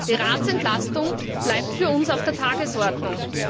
Die Ratsentlastung bleibt für uns auf der Tagesordnung.